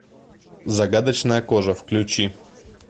загадочная кожа включи